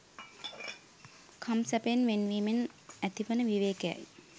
කම් සැපයෙන් වෙන් වීමෙන් ඇතිවන විවේකයයි